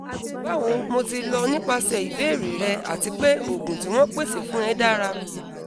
bawo mo ti lọ nipasẹ ibeere rẹ ati pe oogun ti won pese fun e dara